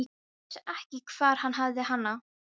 Vissi ekki hvar hann hafði hana.